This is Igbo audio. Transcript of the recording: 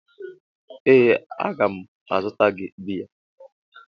Ee a ga m azụtara gị biya.